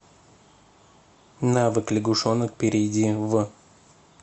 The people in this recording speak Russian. навык лягушонок перейди в